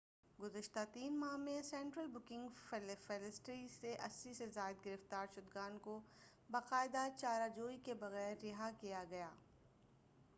گُذشتہ 3 ماہ میں central booking facility سے 80 سے زائد گرفتار شُدگان کو باقاعدہ چارہ جوئی کے بغیر رہا کیا گیا